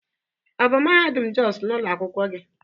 Ọ bụ mahadum Jos ụlọ akwụkwọ gị